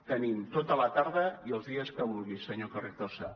tenim tota la tarda i els dies que vulgui senyor carrizosa